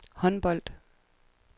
håndbold